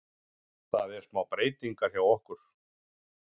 Það er smá breytingar hjá okkur.